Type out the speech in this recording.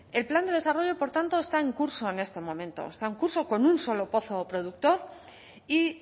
el plan de desarrollo por tanto está en curso en este momento está en curso con un solo pozo productor y